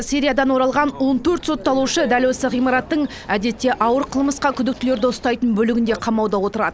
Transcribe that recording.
сириядан оралған он төрт сотталушы дәл осы ғимараттың әдетте ауыр қылмысқа күдіктілерді ұстайтын бөлігінде қамауда отырады